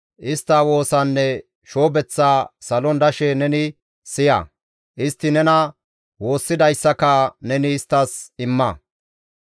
istta woosaanne shoobeththaa salon dashe neni siya; istti nena woossidayssaka neni isttas imma.